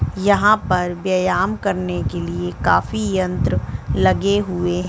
यहाँ पर व्ययाम करने के लिए काफी यंत्र लगे हुए--